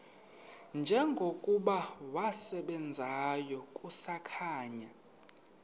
njengokuba wasebenzayo kusakhanya